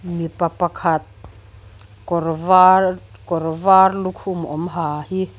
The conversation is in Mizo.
mipa pakhat kawrvar kawrvar lukhum awm ha hi--